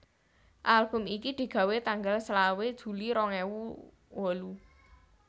Album iki digawé tanggal selawe juli rong ewu wolu